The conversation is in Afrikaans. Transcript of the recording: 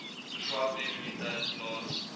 verswakte immuniteit plaas